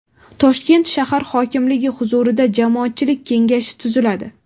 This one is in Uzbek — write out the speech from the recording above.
Toshkent shahar hokimligi huzurida Jamoatchilik kengashi tuziladi.